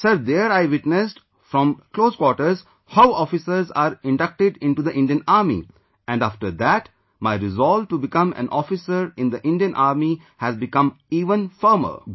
Sir, there I witnessed from close quarters how officers are inducted into the Indian Army ... and after that my resolve to become an officer in the Indian Army has become even firmer